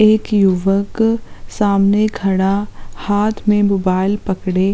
एक युवक सामने खड़ा हाथ में मोबाईल पकड़े --